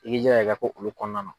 I ki jilaja i ka k'olu kɔnɔna na.